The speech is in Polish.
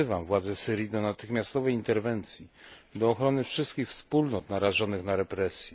Wzywam władze Syrii do natychmiastowej interwencji, do ochrony wszystkich wspólnot narażonych na represje.